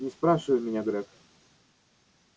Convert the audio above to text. не спрашивай меня грег